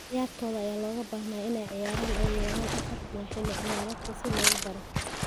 Ciyaartoyda ayaa looga baahnaa inay ciyaaraan ugu yaraan afar kulan xilli ciyaareedkan si loogu daro.